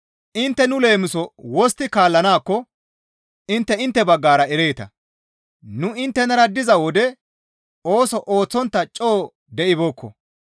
Intte nu leemiso wostti kaallanaakko intte intte baggara ereeta; nu inttenara diza wode ooso ooththontta coo de7ibeekko.